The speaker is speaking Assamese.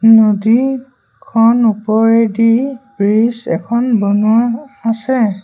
নদী খন ওপৰেদি ব্ৰিজ এখন বনোৱা আছে।